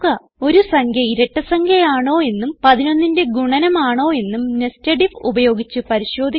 ഒരു സംഖ്യ ഇരട്ട സംഖ്യ ആണോയെന്നും 11ന്റെ ഗുണനം ആണോയെന്നും nested ഐഎഫ് ഉപയോഗിച്ച് പരിശോധിക്കുക